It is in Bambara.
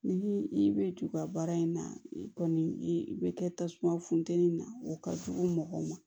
Ni i bɛ juru in na i kɔni i bɛ kɛ tasuma funtɛni na o ka jugu mɔgɔw ma